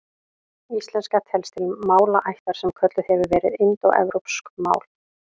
Íslenska telst til málaættar sem kölluð hefur verið indóevrópsk mál.